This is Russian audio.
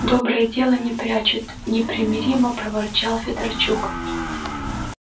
доброе дело не прячут непримиримо проворчал федорчук